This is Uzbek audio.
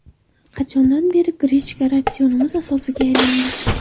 Qachondan beri grechka ratsionimiz asosiga aylandi?